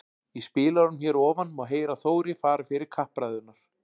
Í spilaranum hér að ofan má heyra Þóri fara fyrir kappræðurnar.